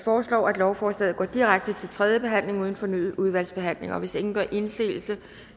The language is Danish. foreslår at lovforslaget går direkte til tredje behandling uden fornyet udvalgsbehandling hvis ingen gør indsigelse